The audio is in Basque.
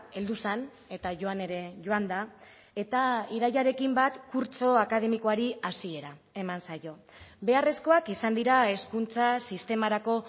heldu zen eta joan ere joan da eta irailarekin bat kurtso akademikoari hasiera eman zaio beharrezkoak izan dira hezkuntza sistemarako